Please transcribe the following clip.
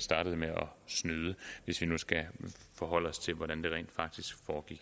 startede med at snyde hvis vi nu skal forholde os til hvordan det rent faktisk foregik